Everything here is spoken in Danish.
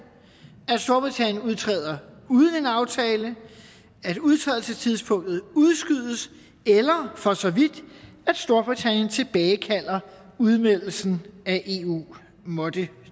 at storbritannien udtræder uden en aftale at udtrædelsestidspunktet udskydes eller for så vidt at storbritannien tilbagekalder udmeldelsen af eu måtte